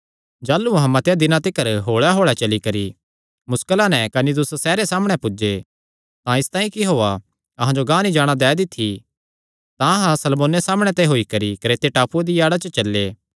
जाह़लू अहां मतेआं दिनां तिकर होल़े होल़े चली करी मुस्कला नैं कनिदुस सैहरे सामणै पुज्जे तां इसतांई कि हौआ अहां जो गांह नीं जाणा दै दी थी तां अहां सलमोने सामणै ते होई करी क्रेते टापूये दिया आड़ा च चल्ले